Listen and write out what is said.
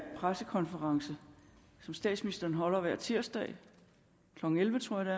pressekonferencen som statsministeren holder hver tirsdag klokken elleve tror jeg